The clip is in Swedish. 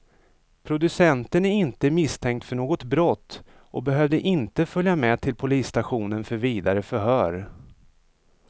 Producenten är inte misstänkt för något brott och behövde inte följa med till polisstationen för vidare förhör.